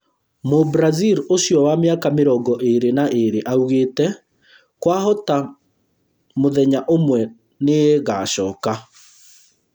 Mũ-Brazil ũcio wa mĩaka mĩrongo ĩĩrĩ na ĩĩrĩ augite: ‘’kwahota mũthenya ũmwe nĩngacoka’’